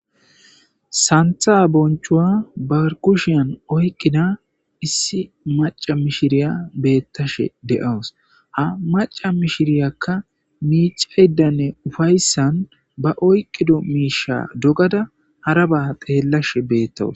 Santha bonchuwa barkushiyan oyqqida issi maca mishiriya beettashe de,awus ha maca mishiriyakka miicayddanne ufayssan ba oyqqido miisha dogada haraba teellashe beettawus.